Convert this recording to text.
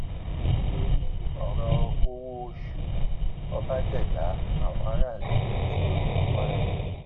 nítorí ọrọ owóoṣù ọba jégbà àwọn aráàlú bínú sí gómìnà kwara